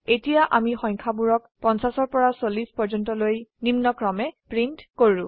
এতিয়া আমি সংখ্যাবোৰক 50 পৰা 40 পৰ্যন্তলৈ নিম্নক্ৰমে প্ৰীন্ট কৰা হয়